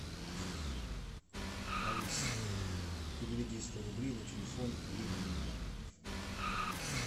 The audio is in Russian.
алис переведи сто рублей на телефон любимая